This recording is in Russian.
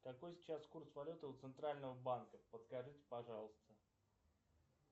какой сейчас курс валюты у центрального банка подскажите пожалуйста